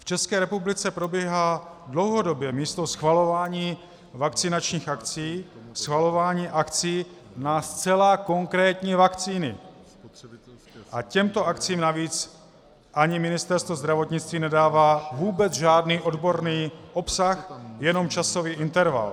V České republice probíhá dlouhodobě místo schvalování vakcinačních akcí schvalování akcí na zcela konkrétní vakcíny, a těmto akcím navíc ani Ministerstvo zdravotnictví nedává vůbec žádný odborný obsah, jenom časový interval.